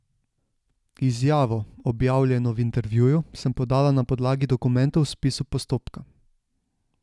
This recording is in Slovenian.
Izjavo, objavljeno v intervjuju, sem podala na podlagi dokumentov v spisu postopka.